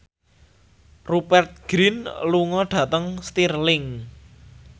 Rupert Grin lunga dhateng Stirling